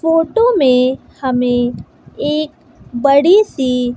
photo में हमें एक बड़ी सी--